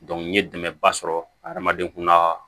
n ye dɛmɛba sɔrɔ hadamaden kun ka